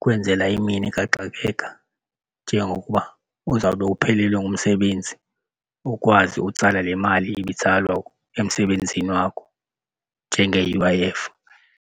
kwenzela imini kaxakeka njengokuba uzawube uphelelwe ngumsebenzi, ukwazi utsala le mali ibitsalwa emsebenzini wakho njenge-U_I_F.